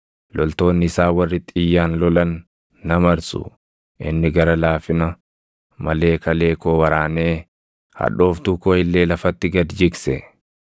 loltoonni isaa warri xiyyaan lolan na marsu. Inni gara laafina malee kalee koo waraanee hadhooftuu koo illee lafatti gad jigse.